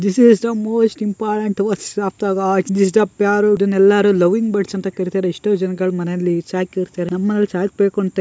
This is the most important of the . This is the . ಇದನೆಲ್ಲಾ loving birds ಅಂತ ಕರಿತ್ತಾರೆ. ಎಷ್ಟೋ ಜನಗಳ ಮನೆಯಲ್ಲಿ ಸಾಕಿರ್ತಾರೆ. ನಮ್ಮನೆಲ್ಲೂ ಸಾಕ್ಬೇಕು ಅಂತ--